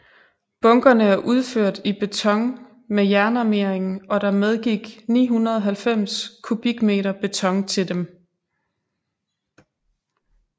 Bunkerne er udført i beton med jernarmering og der medgik 990 m3 beton til dem